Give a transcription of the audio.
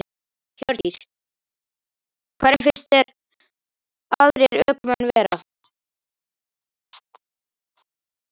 Hjördís: Hvernig finnst þér aðrir ökumenn vera?